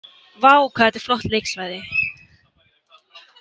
Vá, hvað þetta er flott leiksvæði